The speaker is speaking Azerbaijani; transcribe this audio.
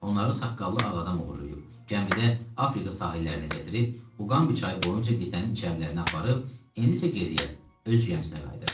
Onları saqqallı ağ adam uğurlayıb, gəmidə Afrika sahillərinə gətirib, Uqambi çayı boyunca qitanın içərilərinə aparıb, indi isə geriyə, öz gəmisinə qayıdır.